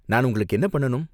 நான் உங்களுக்கு என்ன பண்ணனும்?